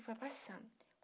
E foi passando.